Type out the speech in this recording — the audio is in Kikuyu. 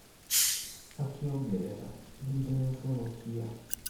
Akiongerera:"ndirecokia"